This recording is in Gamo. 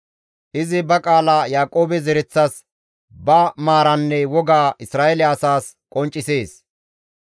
Izi ba qaala Yaaqoobe zereththas ba maaraanne wogaa Isra7eele asaas qonccisees.